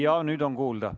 Jah, nüüd on kuulda.